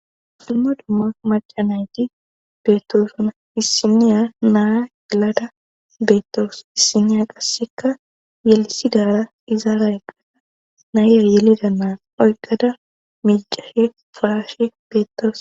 dumma dumma macca nayti beettosonna issiniya naa yelada beettawus issiniya qassekka yelisidaara izira eqada naayye yelida naa oykkada meecashe ba'ashe beettawus.